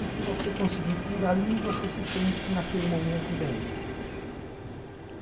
E se você conseguir ir por ali, você se sente, naquele momento, bem.